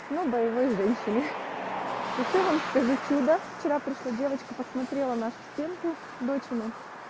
мы боевые женщины хочу вам сказать чудо вчера пришла девочка посмотрела нашу стенку дочери